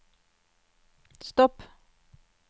stopp